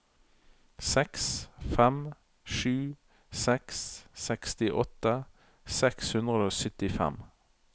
seks fem sju seks sekstiåtte seks hundre og syttifem